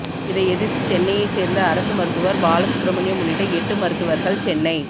இதை எதிர்த்து சென்னையைச் சேர்ந்த அரசு மருத்துவர் பாலசுப்ரமணியம் உள்ளிட்ட எட்டு மருத்துவர்கள் சென்னை